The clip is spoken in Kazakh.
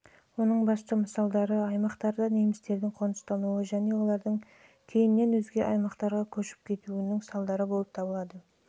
оның басты мысалдары аймақтарда немістердің қоныстануы мен олардың кейіннен өзге аймаққа көшіп кетуін және осындай жолдармен